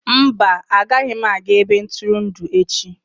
Mba, agaghị m aga ebe ntụrụndụ echi.